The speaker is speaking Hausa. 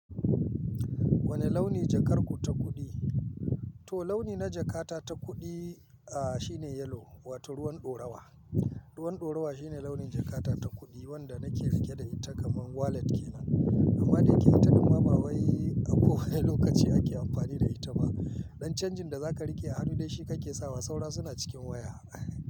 Wane launi jakar ku ta kuɗi? To launi na jakata ta kuɗi, aah shine yellow wato ruwan ɗorawa. Ruwan ɗorawa shine launin jakata ta kuɗi wanda nake riƙe da ita kaman wallet kenan amma dayake ita ɗimma ba wai ako wani lokaci ake amfani da ita ba. Don canjin da za ka riƙe a hannu da shi kake sawa saura suna cikin waya.